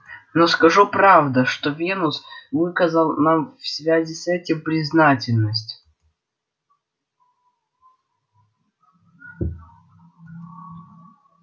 но скажу правда что венус выказал нам в связи с этим признательность